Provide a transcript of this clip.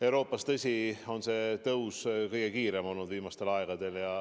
Euroopas, tõsi, on nakatumise tõus viimasel ajal kõige kiirem olnud.